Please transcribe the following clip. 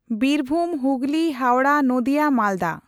Birbhum, Hooghly, Howrah, Nadia, Malda.